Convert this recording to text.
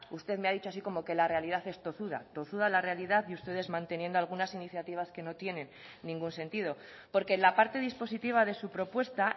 usted me ha dicho así como que la realidad es tozuda tozuda la realidad y ustedes manteniendo algunas iniciativas que no tienen ningún sentido porque la parte dispositiva de su propuesta